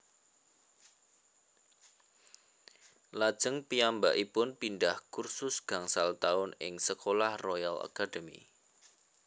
Lajeng piyambakipun pindhah kursus gangsal taun ing Sekolah Royal Academy